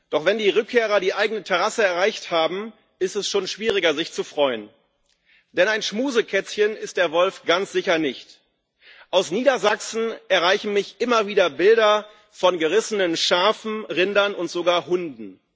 Doch wenn die Rückkehrer die eigene Terrasse erreicht haben, ist es schon schwieriger, sich zu freuen. Denn ein Schmusekätzchen ist der Wolf ganz sicher nicht. Aus Niedersachsen erreichen mich immer wieder Bilder von gerissenen Schafen, Rindern und sogar Hunden.